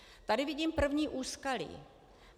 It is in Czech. Tady vidím první úskalí.